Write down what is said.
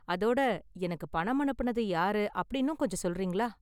அதோட, எனக்கு பணம் அனுப்புனது யாரு அப்படின்னும் கொஞ்சம் சொல்றீங்களா?